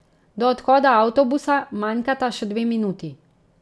Do odhoda avtobusa manjkata še dve minuti.